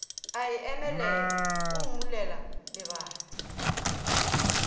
a emelela o mmulela lebati